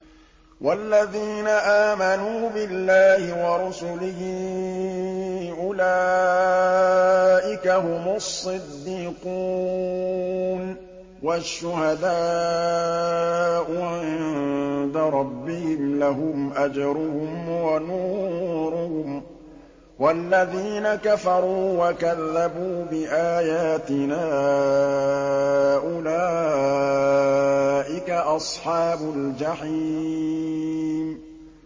وَالَّذِينَ آمَنُوا بِاللَّهِ وَرُسُلِهِ أُولَٰئِكَ هُمُ الصِّدِّيقُونَ ۖ وَالشُّهَدَاءُ عِندَ رَبِّهِمْ لَهُمْ أَجْرُهُمْ وَنُورُهُمْ ۖ وَالَّذِينَ كَفَرُوا وَكَذَّبُوا بِآيَاتِنَا أُولَٰئِكَ أَصْحَابُ الْجَحِيمِ